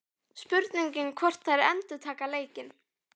Spurning hvort að þær endurtaki leikinn?